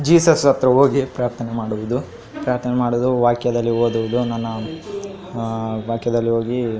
Jesus ಹತ್ರ ಹೋಗಿ ಪ್ರಾರ್ಥನೆ ಮಾಡುದು. ಪ್ರಾರ್ಥನೆ ಮಾಡುದು ವಾಕ್ಯದಲ್ಲಿ ಓದುವುದು ನನ್ನ ಅಹ್ ವಾಕ್ಯದಲ್ಲಿ ಹೋಗಿ --